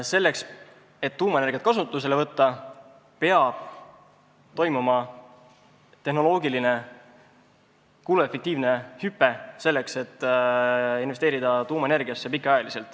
Selleks et tuumaenergiat kasutusele võtta, peab toimuma tehnoloogiline kuluefektiivne hüpe, et sinna pikaajaliselt investeeritaks.